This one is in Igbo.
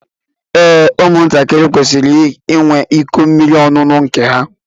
Ee, ụmụ ntakịrị kwesịrị ịnwe ịkọ mmiri ọṅụṅụ nke ha.